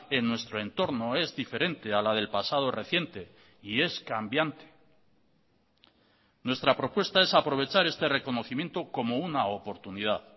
en nuestro entorno es diferente a la del pasado reciente y es cambiante nuestra propuesta es aprovechar este reconocimiento como una oportunidad